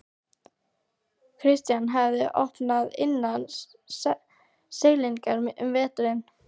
Christian hafði vopn innan seilingar um veturinn.